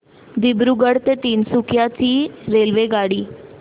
दिब्रुगढ ते तिनसुकिया ची रेल्वेगाडी